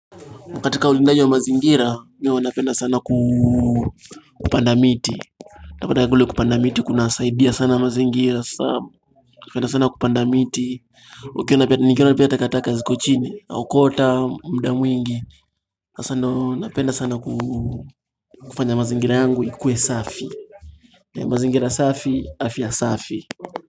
Katika ulindai wa mazingira, pia wanapenda sana kupanda miti unapata kule kupanda miti, kuna saidia sana mazingira sana, napenda sana kupanda miti ukiona pia, nikiona pia takataka ziko chini na okota, mda mwingi sasandio, napenda sana kufanya mazingira yangu, ikuwe safi mazingira safi, afya safi.